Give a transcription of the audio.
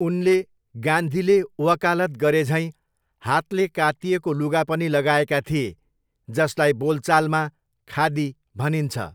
उनले गान्धीले वकालत गरेझैँ हातले कातिएको लुगा पनि लगाएका थिए जसलाई बोलचालमा 'खादी' भनिन्छ।